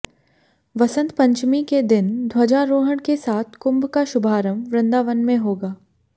वसंत पंचमी के दिन ध्वजारोहण के साथ कुंभ का शुभारंभ वृंदावन में होगा